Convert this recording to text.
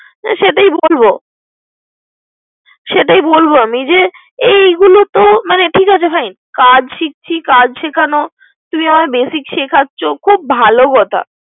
হুম সেটাই বলব সেটাই বলব। এগুলা বলব। ঠিক আছে ভাই। কাজ শিখছি কাজ শেখান, তুমি আমায় basic শেখাচ্ছো। খুব ভালো কথা।